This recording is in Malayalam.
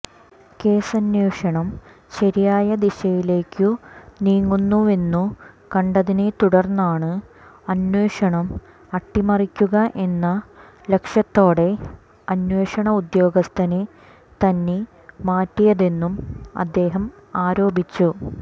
കേസന്വേഷണം ശരിയായ ദിശയിലേക്കു നീങ്ങുന്നുവെന്നു കണ്ടതിനെതുടര്ന്നാണ് അന്വേഷണം അട്ടിമറിക്കുക എന്ന ലക്ഷ്യത്തോടെ അന്വേഷണ ഉദ്യോഗസ്ഥനെ തന്നെ മാറ്റിയതെന്നും അദ്ദേഹം ആരോപിച്ചു